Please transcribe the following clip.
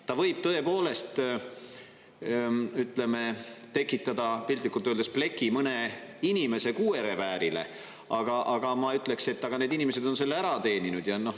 Ta võib, tõepoolest, ütleme, tekitada piltlikult öeldes pleki mõne inimese kuuereväärile, aga ma ütleks, et need inimesed on selle ära teeninud.